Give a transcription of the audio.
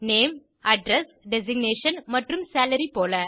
name address designation மற்றும் salary போல